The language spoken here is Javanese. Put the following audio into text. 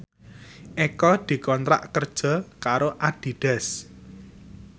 Eko dikontrak kerja karo Adidas